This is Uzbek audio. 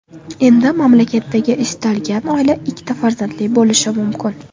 Endi mamlakatdagi istalgan oila ikkita farzandli bo‘lishi mumkin.